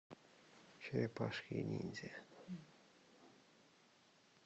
черепашки ниндзя